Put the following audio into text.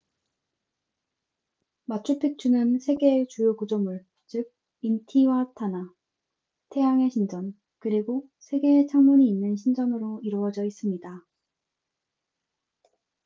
마추픽추는 세 개의 주요 구조물 즉 인티와타나 태양의 신전 그리고 3개의 창문이 있는 신전으로 이루어져 있습니다